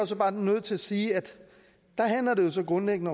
så bare nødt til at sige at det så grundlæggende